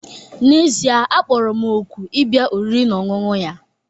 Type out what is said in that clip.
N'ezie, a kpọrọ m òkù ịbịa oriri na ọṅụṅụ ya